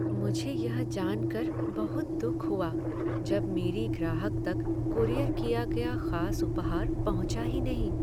मुझे यह जान कर बहुत दुख हुआ जब मेरी ग्राहक तक कूरियर किया गया खास उपहार पहुंचा ही नहीं।